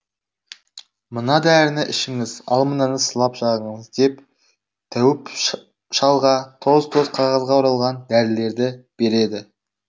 мына дәріні ішіңіз ал мынаны сылап жағыңыз деп тәуіп шалға тоз тоз қағазға оралған дәрілерді береді